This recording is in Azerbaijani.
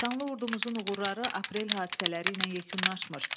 Şanlı ordumuzun uğurları aprel hadisələri ilə yekunlaşmır.